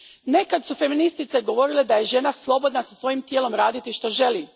Nekad su feministice govorile da je žena slobodna sa svojim tijelom raditi što želi.